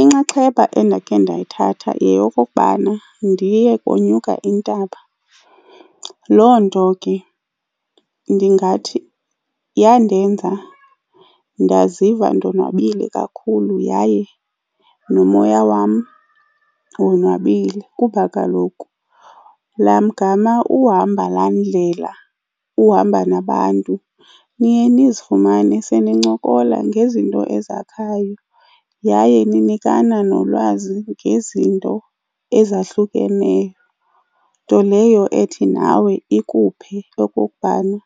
Inxaxheba endakhe ndayithatha yeyokokubana ndiye konyuka intaba. Loo nto ke ndingathi yandenza ndaziva ndonwabile kakhulu yaye nomoya wam wonwabile. Kuba kaloku laa mgama uhamba laa ndlela uhamba nabantu, niye ndizifumane senincokola ngezinto ezahlukenayo yaye ninikana nolwazi ngezinto ezahlukeneyo. Nto leyo ethi nawe ikuphe okokubana